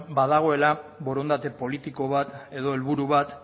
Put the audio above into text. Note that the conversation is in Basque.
badagoela borondate politiko bat edo helburu bat